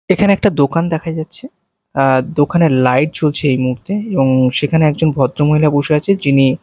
এখানে একটা দোকান দেখা যাচ্ছে আঃ দোকানের লাইট জ্বলছে এই মুহূর্তে এবং সেখানে একজন ভদ্রমহিলা বসে আছে যিনি--